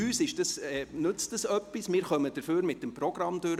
Uns nützt es etwas, wir kommen dafür mit dem Programm durch.